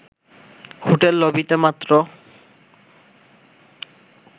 hotel লবিতে মাত্র